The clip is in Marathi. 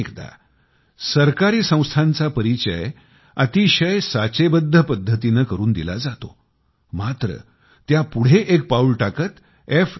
अनेकदा सरकारी संघटनांचा परिचय अतिशय साचेबद्ध पद्धतीने करून दिला जातो मात्र त्यापुढे एक पाऊल टाकत f